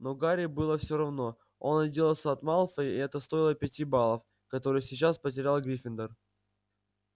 но гарри было всё равно он отделался от малфоя и это стоило пяти баллов которые сейчас потерял гриффиндор